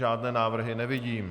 Žádné návrhy nevidím.